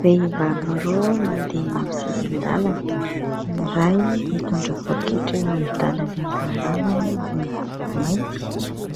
Vehivavy roa mandeha eny amin'ny sisin-dàlana. Ny iray mitondra poaketra eo amin'ny tanany ankavanany, izay miloko mainty.